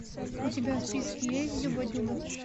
у тебя в списке есть дюба дюба